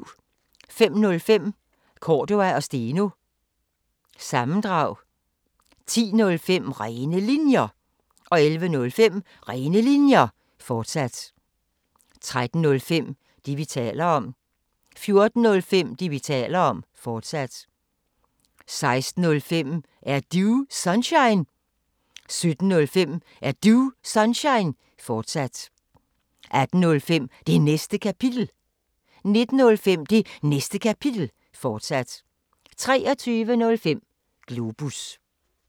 05:05: Cordua & Steno – sammendrag 10:05: Rene Linjer 11:05: Rene Linjer, fortsat 13:05: Det, vi taler om 14:05: Det, vi taler om, fortsat 16:05: Er Du Sunshine? 17:05: Er Du Sunshine? fortsat 18:05: Det Næste Kapitel 19:05: Det Næste Kapitel, fortsat 23:05: Globus